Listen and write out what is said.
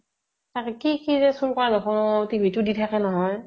তাকে কি কি যে চুৰ কৰা নহয়, TV টো দি থেকে নহয়।